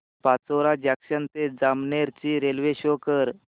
Pachora junction ते जामनेर ची railway शो कर